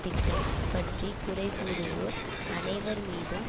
திட்டம் பற்றி குறைகூறுவோர் அனைவர் மீதும்